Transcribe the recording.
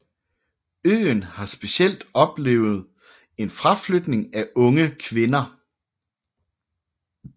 Øen har specielt oplevet en fraflytning af unge kvinder